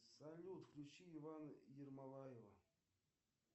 салют включи ивана ермолаева